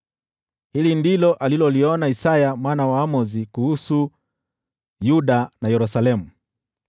Hili ndilo aliloliona Isaya mwana wa Amozi kuhusu Yuda na Yerusalemu: